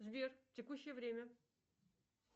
сбер текущее время